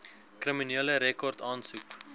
kriminele rekord aansoek